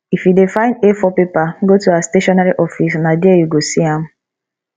if you dey find a4 paper go to our stationery office na there you go see am